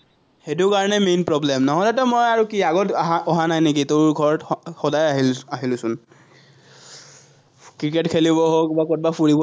সেটো কাৰণে main problem নহ'লেতো মই আৰু কি আগত অহা অহা নাই নেকি, তোৰ ঘৰত সদায় আহি আহিলোচোন, ক্ৰিকেট খেলিব হওক, বা কৰবাত ফুৰিব